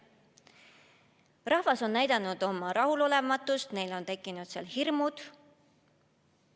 Rahvas on näidanud oma rahulolematust, neil on tekkinud hirmud.